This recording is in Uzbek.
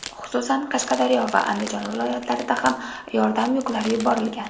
Xususan, Qashqadaryo va Andijon viloyatlaridan ham yordam yuklari yuborilgan.